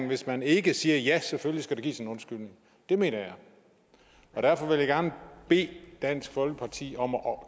hvis man ikke siger ja selvfølgelig skal der gives en undskyldning det mener jeg og derfor vil jeg gerne bede dansk folkeparti om at